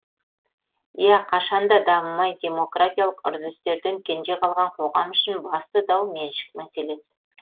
иә қашан да дамымай демократиялық үрдістерден кенже қалған қоғам үшін басты дау меншік мәселесі